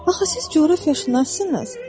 Axı siz coğrafiyaçısınız?